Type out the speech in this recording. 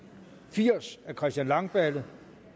firs af christian langballe